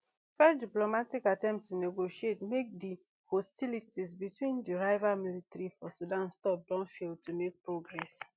fresh diplomatic attempts to negotiate make di hostilities between di rival military for sudan stop don fail to make progress